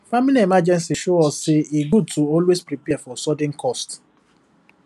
family emergency show us say e good to always prepare for sudden cost